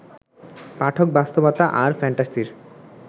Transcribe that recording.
পাঠক বাস্তবতা আর ফ্যান্টাসির